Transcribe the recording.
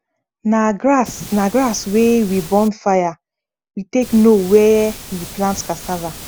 na grass na grass wey we burn fire we take know where we plant cassava